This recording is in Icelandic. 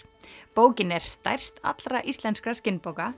bókin er stærst allra íslenskra